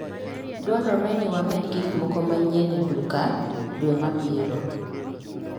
Dwarore ni wamed gik moko manyien e duka dwe mabiro.